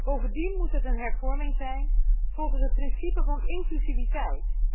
Bovendien moet het een hervorming zijn volgens het principe van inclusiviteit.